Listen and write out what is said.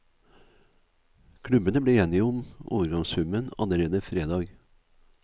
Klubbene ble enige om overgangssummen allerede fredag.